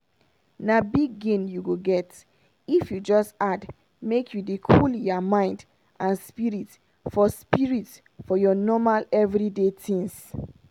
na big gain you go get if you just add make you dey cool your mind and spirit for spirit for your normal everyday tins.